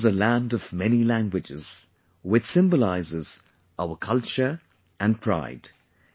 India is a land of many languages, which symbolizes our culture and pride